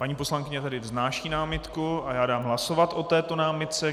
Paní poslankyně tedy vznáší námitku a já dám hlasovat o této námitce.